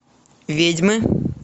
ведьмы